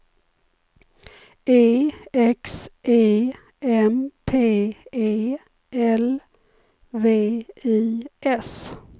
E X E M P E L V I S